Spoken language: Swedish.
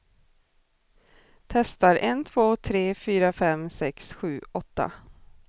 Testar en två tre fyra fem sex sju åtta.